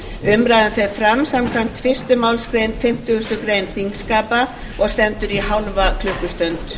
umræðan fer fram samkvæmt fyrstu málsgrein fimmtugustu grein þingskapa og stendur í hálfa klukkustund